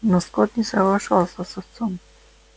но скотт не соглашался с отцом